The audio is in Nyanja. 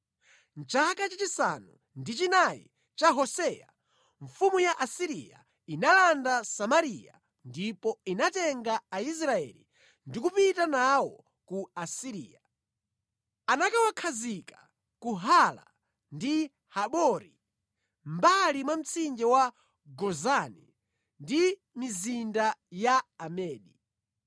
Mʼchaka chachisanu ndi chinayi cha Hoseya, mfumu ya ku Asiriya inalanda Samariya ndipo inatenga Aisraeli ndi kupita nawo ku Asiriya. Anakawakhazika ku Hala ndi Habori mʼmbali mwa mtsinje wa Gozani ndi mʼmizinda ya Amedi.